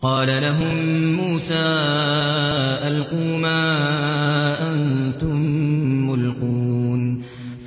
قَالَ لَهُم مُّوسَىٰ أَلْقُوا مَا أَنتُم مُّلْقُونَ